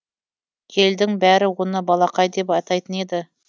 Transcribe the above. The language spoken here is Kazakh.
елдің бәрі оны балақай деп атайтын еді